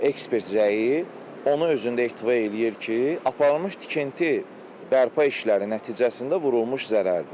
Ekspert rəyi ona özündə ehtiva eləyir ki, aparılmış tikinti bərpa işləri nəticəsində vurulmuş zərərdir.